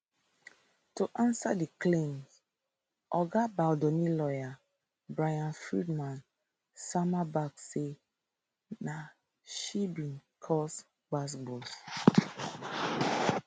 to ansa di claim oga baldoni lawyer bryan freedman sama back say na she bin cause gbasgbos